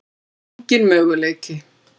Það er engin möguleiki.